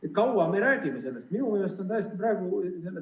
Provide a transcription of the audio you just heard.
Kui kaua me räägime sellest?